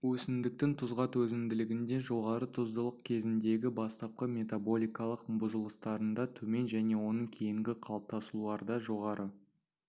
өсімдіктің тұзға төзімділігінде жоғары тұздылық кезіндегі бастапқы метаболикалық бұзылыстарында төмен және оның кейінгі қалыптасуларда жоғары